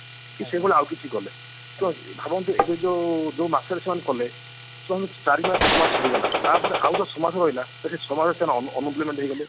କି ସେମାନେ ଆଉ କିଛି କଲେ ତ ଭାବନ୍ତୁ ଏଟା ଯୋଉ ଯୋଉ ମାସରେ ସେମାନେ କଲେ ସେମାନେ ଚାରିମାସ ଛମାସ ସରିଗଲା ତାପରେ ଆଉ ଯୋଉ ଛମାସ ରହିଲା ତ ସେ ଛମାସ ସେମାନେ ଉଁ unemployment ହେଇଗଲେ